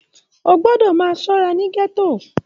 O gbọdọ máa ṣọra ní gẹto!